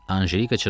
Anjelika çırpındı.